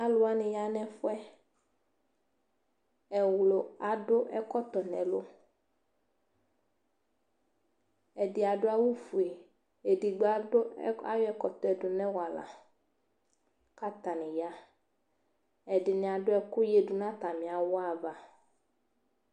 Alʋ wanɩ ya nʋ ɛfʋ yɛ, ɛɣlʋ adʋ ɛkɔtɔ nʋ ɛlʋ Ɛdɩ adʋ awʋfue, edigbo adʋ ayɔ ɛkɔtɔ dʋ nʋ awala kʋ atanɩ ya Ɛdɩnɩ adʋ ɛkʋ yǝdu nʋ atamɩ awʋ ava